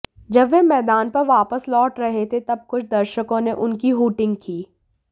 जब वह मैदान पर वापस लौट रहे थे तब कुछ दर्शकों ने उनकी हूटिंग की